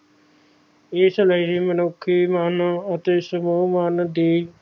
ਇਸ ਲਈ ਮਨੁੱਖੀ ਮਨ ਅਤੇ ਸਰੋਹ ਮਨ ਦੀ